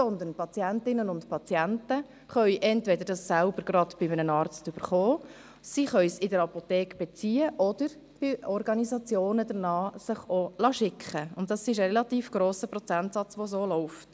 Die Patientinnen und Patienten können es entweder selbst bei einem Arzt beziehen, in der Apotheke besorgen oder es sich von Organisationen zuschicken lassen, was bei einem relativ grossen Prozentsatz der Fall ist.